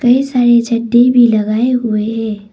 ढेर सारे झंडे भी लगाए हुए हैं।